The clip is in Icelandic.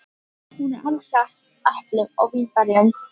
Hún er alsett eplum og vínberjum.